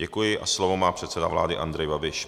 Děkuji a slovo má předseda vlády, Andrej Babiš.